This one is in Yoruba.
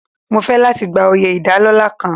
Mo fẹ́ láti gba oyè ìdálọ́lá kan.